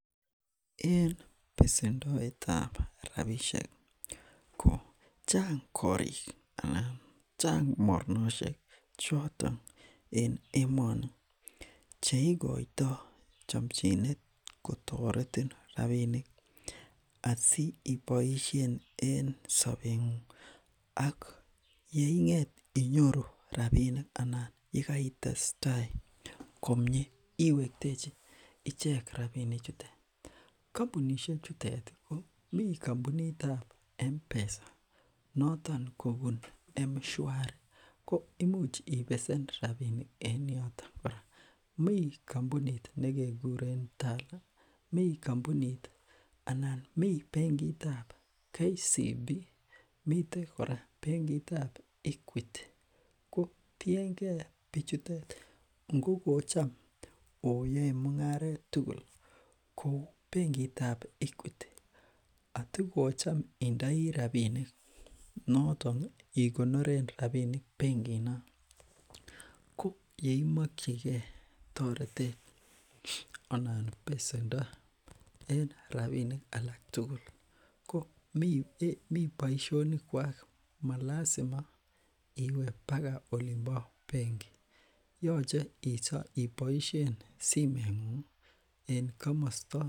en pesendoetab rapishek kochang korik anan chang mornoshek choton en emoni cheikoito chomchinet kotoretin rapinik asiipoishen en sobengung ak yeinget inyoru rapinik anan yekeitesta komie iwektechi ichek rapinichutet kompunishechuteti mi kompunitab mpesa konoton kobun mswari koimuch ipesen rapinik en yoton kora mi kompunit nekekuren tala mi kompunit anan mi benkitab kcb miten kora benkitab equiti kotiengee bichutet ngokocham oyoe mungaret tugul kou benkitab equiti ngokocham indoi rapinik notoni ikonoren rapinik benkinon ko yeimokyikee toretet anan pesendo en rapinik alak tugul ko mi boishonikwak malasima iwe baka olimpo bengi yoche iso iboishen simengungi en komosto